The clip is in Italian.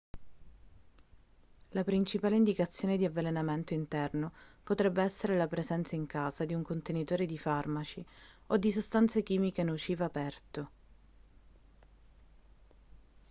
la principale indicazione di avvelenamento interno potrebbe essere la presenza in casa di un contenitore di farmaci o di sostanze chimiche nocive aperto